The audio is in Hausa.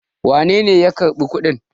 wanene ya karɓi kuɗin?